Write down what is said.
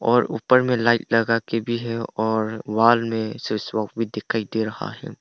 और ऊपर में लाइट लगा के भी है और वॉल में स्विच भी दिखाई दे रहा है।